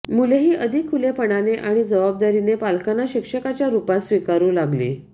मुलेही अधिक खुलेपणाने आणि जबाबदारीने पालकांना शिक्षकाच्या रूपात स्वीकारू लागली